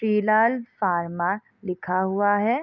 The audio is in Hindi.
श्री लाल फार्मा लिखा हुआ है।